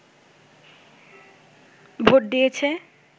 vote দিয়েছে